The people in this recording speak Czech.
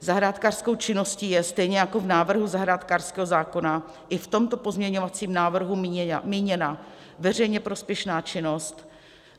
Zahrádkářskou činností je, stejně jako v návrhu zahrádkářského zákona, i v tomto pozměňovacím návrhu míněna veřejně prospěšná činnost.